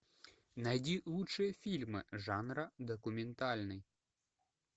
найди лучшие фильмы жанра документальный